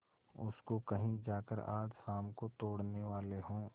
उसको कहीं जाकर आज शाम को तोड़ने वाले हों